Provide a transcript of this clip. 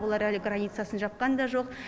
олар әлі границасын жапқан да жоқ